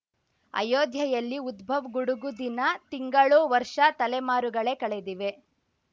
ಅಯೋಧ್ಯೆಯಲ್ಲಿ ಉದ್ಬವ್‌ ಗುಡುಗು ದಿನ ತಿಂಗಳು ವರ್ಷ ತಲೆಮಾರುಗಳೇ ಕಳೆದಿವೆ